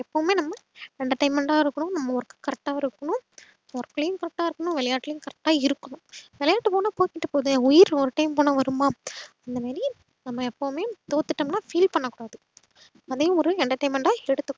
entertainment ஆவும் இருக்கணும் நம்ம work correct ஆவும் இருக்கணும் work ளையும் correct ஆ இருக்கணும் விளையாட்டுளையும் correct ஆ இருக்கணும் விளையாட்டு போனா போயிட்டு போது உயிர் ஒரு time போனா வரும்மா அந்தமாறி நம்ம எப்போவும்மே தோத்துடோம்னா feel பண்ணக்கூடாது அதையும் ஒரு entertainment ஆ எடுத்துக்கணும்